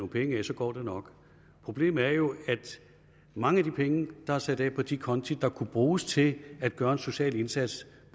penge af så går det nok problemet er jo at mange af de penge der er sat af på de konti der kunne bruges til at gøre en social indsats